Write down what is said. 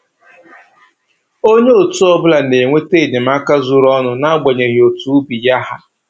Onye otu ọbụla na-enweta enyemaka zuru ọnụ n'agbanyeghị otu ubi ya ha